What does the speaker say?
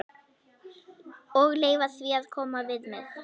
Og leyfa því að koma við mig.